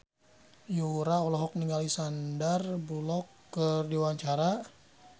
Yura olohok ningali Sandar Bullock keur diwawancara